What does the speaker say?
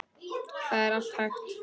Það er allt hægt.